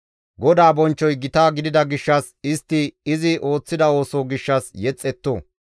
GODAA bonchchoy gita gidida gishshas istti izi ooththida ooso gishshas yexetto.